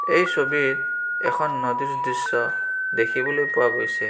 এই ছবিত এখন নদীৰ দৃশ্য দেখিবলৈ পোৱা গৈছে।